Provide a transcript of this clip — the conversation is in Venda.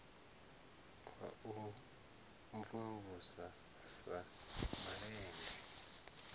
wa u mvumvusa sa malende